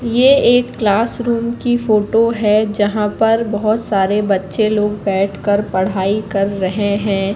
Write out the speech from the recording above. ये एक क्लासरूम की फोटो है जहां पर बहोत सारे बच्चे लोग बैठ कर पढ़ाई कर रहे हैं।